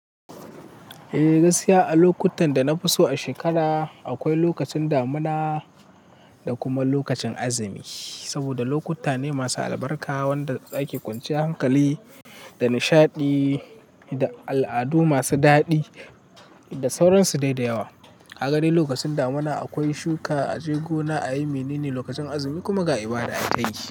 Eh, gaskiya a lokutan da na fi so a shekara akwai lokacin damuna da kuma lokacin azumi. Saboda lokuta ne masu albarka wanda za ki kwanciyan hankali da nishaɗi da al'adu masu daɗi da sauransu dai da yawa. Kaga dai lokacin damuna akwai shuka, a je gona, a yi mene ne lokacin azumi kuma ga ibada haka yake.